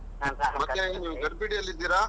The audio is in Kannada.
ಮತ್ತೆ ನೀವು ಗಡಿಬಿಡಿಯಲ್ಲಿ ಇದ್ದೀರಾ?